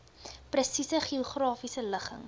presiese geografiese ligging